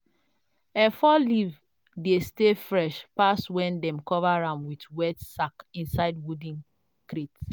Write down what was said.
efo leaf dey stay fresh pass when dem cover am with wet sack inside wooden crate.